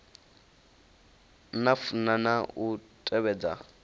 na funa na u tevhedza